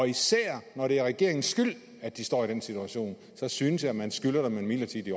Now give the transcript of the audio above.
især når det er regeringens skyld at de står i den situation så synes jeg at man skylder dem en midlertidig